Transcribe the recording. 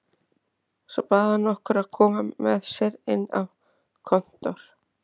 Svo bað hann okkur að koma með sér inn á kontór.